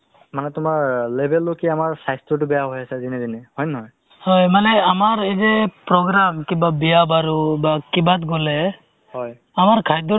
তোমাক বুলি নহয় অ কোনোবাই যদি সোধে তুমি কি কৰা ? to মই actually ওব যিহেতু মোৰ চৰকাৰী হোৱা নাই চৰকাৰী contextual basis তে মই তোমাৰ medical ত কৰি আছো